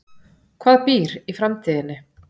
Hvað býr í framtíðinni?